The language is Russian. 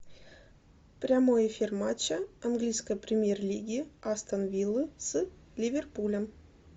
прямой эфир матча английской премьер лиги астон вилла с ливерпулем